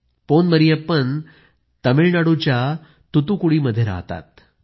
पोन मरियप्पन तमिळनाडूच्या तुतुकुडीमध्ये रहातात